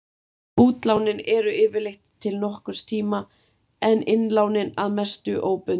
Útlánin eru yfirleitt til nokkurs tíma en innlánin að mestu óbundin.